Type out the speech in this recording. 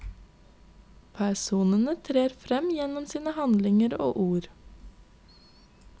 Personene trer frem gjennom sine handlinger og ord.